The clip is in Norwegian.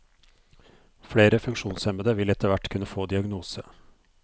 Flere funksjonshemmede vil etterhvert kunne få diagnose.